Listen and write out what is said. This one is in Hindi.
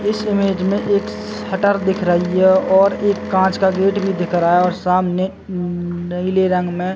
इस इमेज में एक सटर दिख रही है और एक कांच का गेट भी दिख रहा है और सामने न नीले रंग में--